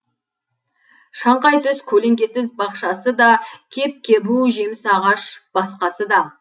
шаңқай түс көлеңкесіз бақшасы да кеп кебу жеміс ағаш басқасы да